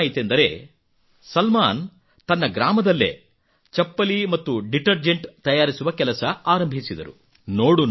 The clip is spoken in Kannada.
ಮತ್ತೇನಾಯಿತೆಂದರೆ ಸಲ್ಮಾನ್ ತನ್ನ ಗ್ರಾಮದಲ್ಲೇ ಚಪ್ಪಲಿ ಮತ್ತು ಡಿಟರ್ಜೆಂಟ್ ತಯಾರಿಸುವ ಕೆಲಸ ಆರಂಭಿಸಿದರು